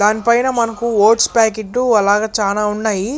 దానిపైన మనకు oats packet అలాగే చాలా ఉన్నాయి.